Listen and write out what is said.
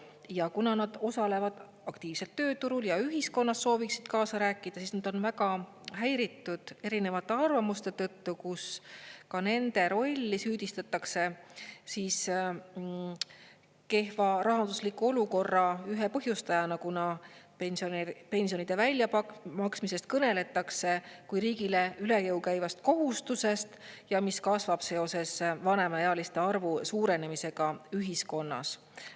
Ja kuna nad osalevad aktiivselt tööturul ja ühiskonnas sooviksid kaasa rääkida, siis nad on väga häiritud erinevate arvamuste tõttu, kus ka nende rolli süüdistatakse kehva rahandusliku olukorra ühe põhjustajana, kuna pensionide väljamaksmisest kõneldakse kui riigile üle jõu käivast kohustusest, mis kasvab seoses vanemaealiste arvu suurenemisega ühiskonnas.